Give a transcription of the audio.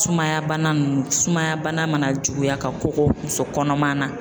Sumaya bana ninnu sumaya bana mana juguya ka kɔgɔ muso kɔnɔma na.